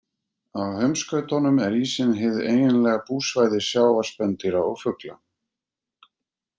Á heimskautunum er ísinn hið eiginlega búsvæði sjávarspendýra og fugla.